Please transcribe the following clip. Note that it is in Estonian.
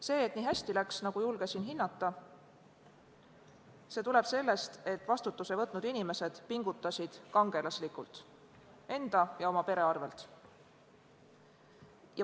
See, et nii hästi läks, nagu julgesin hinnata, tuleb sellest, et vastutuse võtnud inimesed pingutasid kangelaslikult enda ja oma pere arvel.